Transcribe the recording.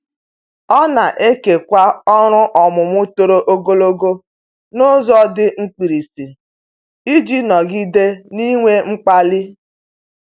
Ọ na-ekewa ọrụ ọmụmụ toro ogologo n'ụzọ dị mkpirisi iji nọgide n'inwe mkpali.